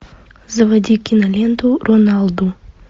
заводи киноленту роналду